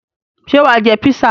Ṣé wà á jẹ písà?